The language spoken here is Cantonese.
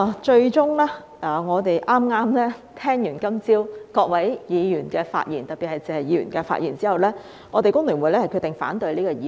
最終，在剛才聽畢今早各位議員的發言後——特別是謝議員的發言——我們香港工會聯合會決定反對這項議案。